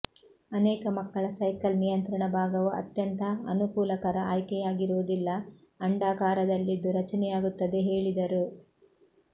ಅನೇಕ ಮಕ್ಕಳ ಸೈಕಲ್ ನಿಯಂತ್ರಣ ಭಾಗವು ಅತ್ಯಂತ ಅನುಕೂಲಕರ ಆಯ್ಕೆಯಾಗಿರುವುದಿಲ್ಲ ಅಂಡಾಕಾರದಲ್ಲಿದ್ದು ರಚನೆಯಾಗುತ್ತದೆ ಹೇಳಿದರು